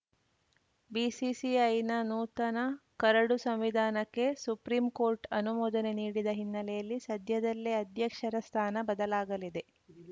ಬಿಸಿಸಿಐನ ನೂತನ ಕರಡು ಸಂವಿಧಾನಕ್ಕೆ ಸುಪ್ರೀಂಕೋರ್ಟ್‌ ಅನುಮೋದನೆ ನೀಡಿದ ಹಿನ್ನೆಲೆಯಲ್ಲಿ ಸದ್ಯದಲ್ಲೇ ಅಧ್ಯಕ್ಷರ ಸ್ಥಾನ ಬದಲಾಗಲಿದೆ